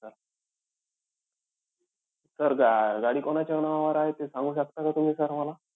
Sir गा अं गाडी कोणाच्या नावावर आहे ते सांगू शकता का तुम्ही sir मला?